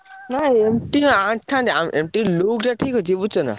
ନାଇଁ MT ଆଣିଥାନ୍ତି। ଆ ଉ MT look ଟା ଠିକ୍ ଅଛି ବୁଝୁଛନା।